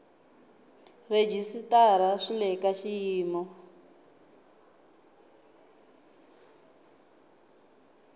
rhejisitara swi le ka xiyimo